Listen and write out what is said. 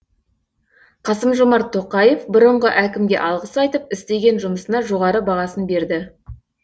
қасым жомарт тоқаев бұрынғы әкімге алғыс айтып істеген жұмысына жоғары бағасын берді